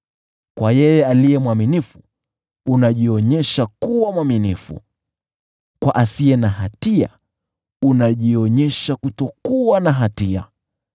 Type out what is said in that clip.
Kwa yeye aliye mwaminifu, unajionyesha kuwa mwaminifu, kwa asiye na hatia, unajionyesha kutokuwa na hatia.